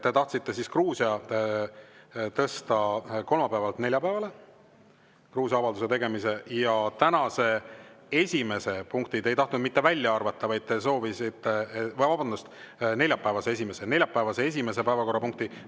Te tahtsite Gruusia avalduse tegemise tõsta kolmapäevalt neljapäevale ja neljapäevast esimest punkti te ei tahtnud mitte välja arvata, vaid te soovisite selle tõsta tänaseks teiseks päevakorrapunktiks.